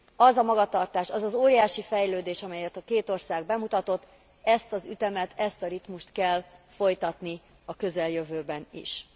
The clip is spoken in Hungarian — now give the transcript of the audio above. Az a magatartás, az az óriási fejlődés, amelyet a két ország bemutatott, ezt az ütemet, ezt a ritmust kell folytatni a közeljövőben is.